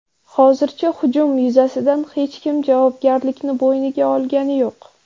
Hozircha hujum yuzasidan hech kim javobgarlikni bo‘yniga olgani yo‘q.